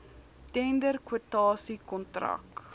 tender kwotasie kontrak